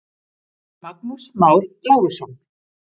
Magnús Már Lárusson.